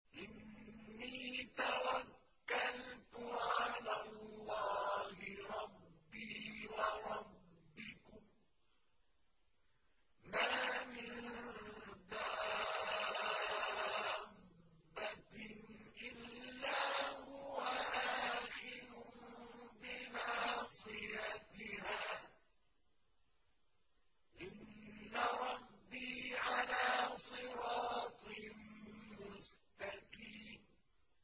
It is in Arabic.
إِنِّي تَوَكَّلْتُ عَلَى اللَّهِ رَبِّي وَرَبِّكُم ۚ مَّا مِن دَابَّةٍ إِلَّا هُوَ آخِذٌ بِنَاصِيَتِهَا ۚ إِنَّ رَبِّي عَلَىٰ صِرَاطٍ مُّسْتَقِيمٍ